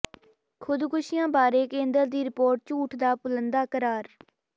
ਖ਼ੁਦਕੁਸ਼ੀਆਂ ਬਾਰੇ ਕੇਂਦਰ ਦੀ ਰਿਪੋਰਟ ਝੂਠ ਦਾ ਪੁਲੰਦਾ ਕਰਾਰ